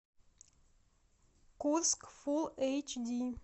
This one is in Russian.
курск фулл эйч ди